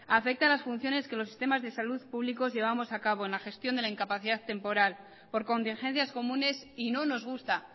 afecta a las funciones que los sistemas de salud públicos llevamos a cabo en la gestión de la incapacidad temporal por contingencias comunes y no nos gusta